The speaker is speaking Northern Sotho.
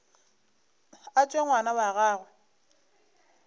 a tšwe ngwana wa gagwe